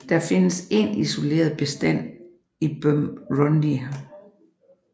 Der findes en isoleret bestand i Burundi